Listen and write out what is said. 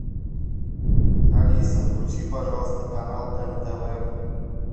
алиса включи пожалуйста канал нтв